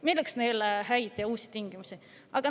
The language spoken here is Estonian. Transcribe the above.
Milleks neile head tingimused ja uus?